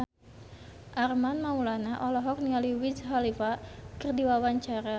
Armand Maulana olohok ningali Wiz Khalifa keur diwawancara